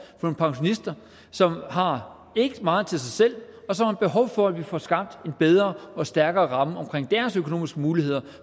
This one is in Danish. for pensionister som har meget til sig selv og som har behov for at vi får skabt en bedre og stærkere ramme omkring deres økonomiske muligheder